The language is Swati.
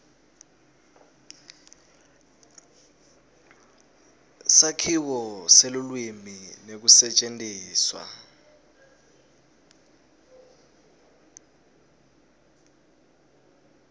sakhiwo selulwimi nekusetjentiswa